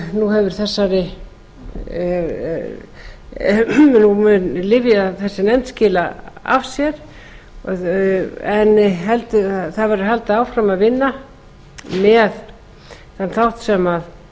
nú mun þessi nefnd skila af sér en það verður haldið áfram að vinna með þann þátt sem